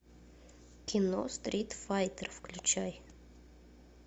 кино стрит файтер включай